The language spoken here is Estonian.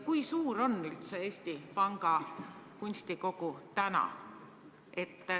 Kui suur üldse on praegu Eesti Panga kunstikogu?